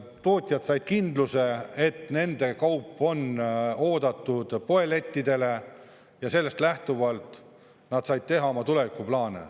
Tootjad said kindluse, et nende kaup on oodatud poelettidele ja sellest lähtuvalt nad said teha oma tulevikuplaane.